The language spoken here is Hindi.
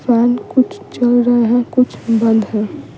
फैन कुछ चल रहे हैं कुछ बंद है।